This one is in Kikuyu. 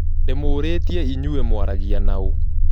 Ndimũũrĩtie inyue mũaragia naũ